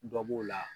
Dɔ b'o la